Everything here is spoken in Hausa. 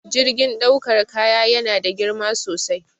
Jirgin ɗaukar kaya yana da girma sosai